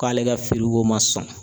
K'ale ka ko ma sɔn.